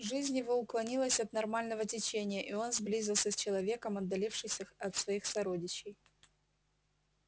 жизнь его уклонилась от нормального течения и он сблизился с человеком отдалившись от своих сородичей